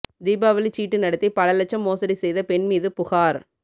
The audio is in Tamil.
தீபாவளிச் சீட்டு நடத்தி பல லட்சம் மோசடி செய்த பெண் மீது புகாா்